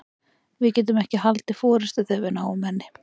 Við getum ekki haldið forystu þegar við náum henni.